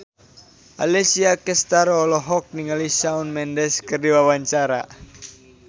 Alessia Cestaro olohok ningali Shawn Mendes keur diwawancara